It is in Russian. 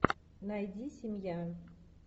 найди семья